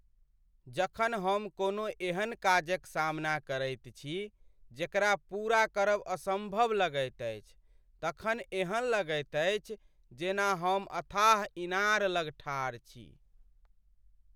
जखन हम कोनो एहन काजक सामना करैत छी जेकरा पूरा करब असम्भव लगैत अछि तखन एहन लगैत अछि जेना हम अथाह इनार लग ठाढ़ छी।